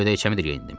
Köynəyimi də geyindim.